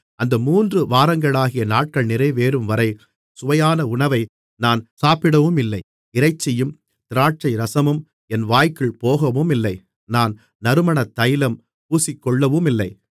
அந்த மூன்று வாரங்களாகிய நாட்கள் நிறைவேறும்வரை சுவையான உணவை நான் சாப்பிடவுமில்லை இறைச்சியும் திராட்சைரசமும் என் வாய்க்குள் போகவுமில்லை நான் நறுமணத்தைலம் பூசிக்கொள்ளவுமில்லை